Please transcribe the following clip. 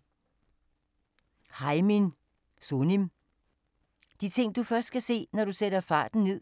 Sunim, Haemin: De ting du først kan se, når du sætter farten ned